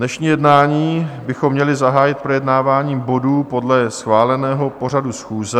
Dnešní jednání bychom měli zahájit projednáváním bodů podle schváleného pořadu schůze.